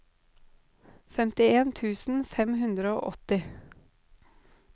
femtien tusen fem hundre og åtti